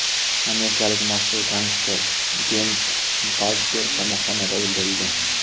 Amerikalik mashhur gangster Jeyms Baldjer qamoqxonada o‘ldirildi.